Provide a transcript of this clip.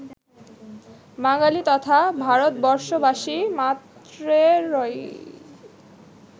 বাঙালি তথা ভারতবর্ষবাসী মাত্রেরই